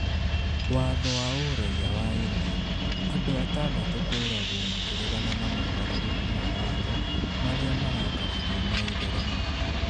Watho wa Ũraiya wa India: Andũ atandatũ kũũragwo makĩregana na mogarũrũku ma watho marĩa marakaragio nĩ Aithĩramu